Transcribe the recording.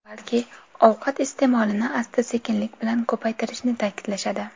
Balki, ovqat iste’molini asta-sekinlik bilan ko‘paytirishni ta’kidlashadi.